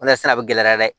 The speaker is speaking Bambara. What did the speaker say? O de la sɛnɛ bɛ gɛlɛya dɛ